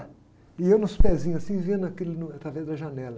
E eu nos pezinhos, assim, vendo aquilo no, através da janela.